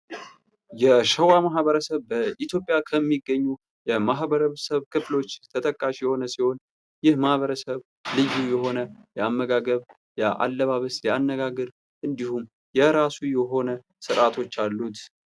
የሸዋ ማህበረሰብ በኢትዮጵያ ከሚገኙ የማኅበረሰብ ክፍሎች ተጠቃሽ የሆነ ሲሆን ፤ ይህ ማህበረሰብ ልዩ የሆነ የአመጋገብ ፣ የ አለባበስ ፣ የ አነጋገር እንዲሁም የራሱ የሆነ ሥርዓቶች አሉት።